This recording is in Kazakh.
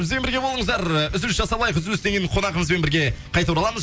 бізбен бірге болыңыздар үзіліс жасап алайық үзілістен кейін қонағымызбен бірге қайта ораламыз